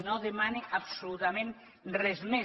no demana absolutament res més